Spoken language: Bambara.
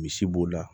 Misi b'o la